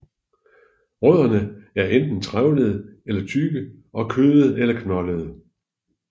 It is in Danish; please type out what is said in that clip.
Rødderne er enten trævlede eller tykke og kødede eller knoldede